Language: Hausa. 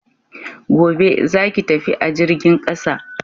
Gobe, za ki tafi a jirgin ƙasa!